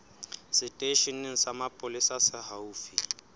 seteisheneng sa mapolesa se haufi